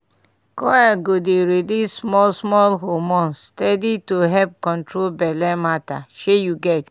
coil go dey release small-small hormone steady to help control belle matter shey u get.